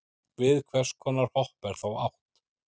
við hvers konar hopp er þá átt